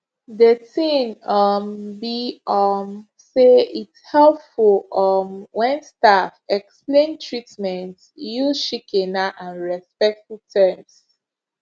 de tin um be um say its helpful um wen staff explain treatments use shikena and respectful terms